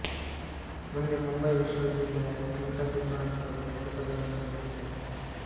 ಮುಂದೆ ಮುಂಬಯಿ ವಿಶ್ವವಿದ್ಯಾಲಯದ chemical technology ವಿಭಾಗದಲ್ಲಿ ಎರಡು ಪದವಿಗಳನ್ನು ಗಳಿಸಿದರು